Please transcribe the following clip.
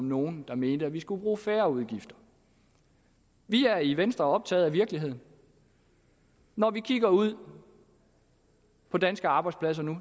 nogen der mente at vi skulle bruge færre udgifter vi er i venstre optaget af virkeligheden når vi kigger ud på danske arbejdspladser nu